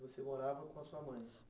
Você morava com a sua mãe?